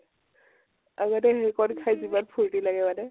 আগতে সেইকন খাই যিমান ফুৰ্তি লাগে মানে